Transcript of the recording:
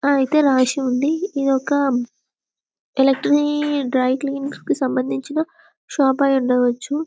ఐతే రాసివుంది ఇది ఒక ఎలక్ట్రిక్ డ్రై క్లీన్ కి సంబంధిచిన షాప్ యి ఉండవచ్చు.